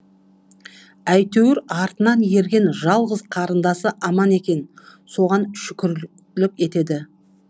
әйтеуір артынан ерген жалғыз қарындасы аман екен соған шүкірлік етеді